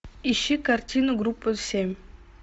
ищи картину группа семь